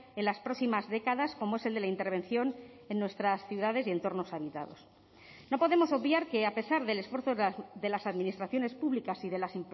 en las próximas décadas como es el de la intervención en nuestras ciudades y entornos habitados no podemos obviar que a pesar del esfuerzo de las administraciones públicas y de las